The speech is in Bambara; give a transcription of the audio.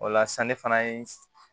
O la sisan ne fana ye